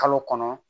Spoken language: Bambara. Kalo kɔnɔ